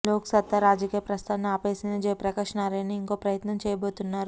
లోక్ సత్తా రాజకీయ ప్రస్థానాన్ని ఆపేసిన జయప్రకాశ్ నారాయణ ఇంకో ప్రయత్నం చేయబోతున్నారు